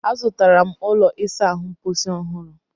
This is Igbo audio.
Azụtara m ụlọ ịsa ahụ mposi ọhụrụ